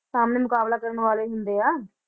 ਸਾਹਮਣੇ ਮੁਕਾਬਲਾ ਕਰਨ ਵਾਲੇ ਹੀ ਹੁੰਦੇ ਆ